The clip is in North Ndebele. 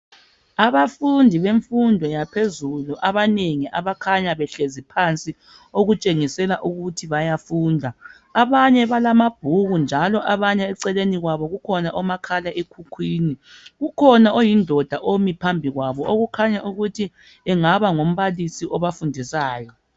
Abafundi bemfundo yaphezulu abanengi abakhanya behlezi phansi okutshengisela ukuthi bayafunda abanye balamabhuku njalo abanye eceleni kwabo kukhona omakhala ekhukhwini ukhona oyindoda omi phambi kwabo okukhanya ukuthi engaba ngumbalisi obafundisayo.